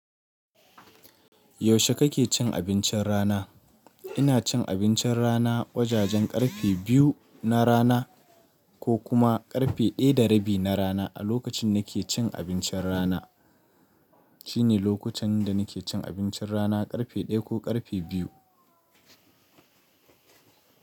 Yaushe kake cin abincin rana? Ina cin abincin rana wajajen karfe biyu na rana ko kuma karfe ɗaya da rabi na rana. A lokacin da nake cin abincin rana shine lokutan da nake cin abincin rana. Karfe ɗaya ko karfe biyu.